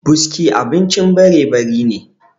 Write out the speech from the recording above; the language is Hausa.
buski abincin barebari ne